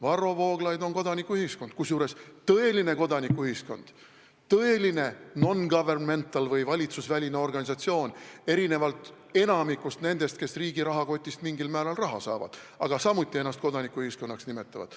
Varro Vooglaid esindab kodanikuühiskonda, kusjuures tõelist kodanikuühiskonda, tõelist non-governmental või valitsusvälist organisatsiooni, erinevalt enamikust nendest, kes riigi rahakotist mingil määral raha saavad, aga samuti ennast kodanikuühiskonnaks nimetavad.